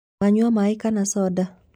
Wanyua maĩ kana soda?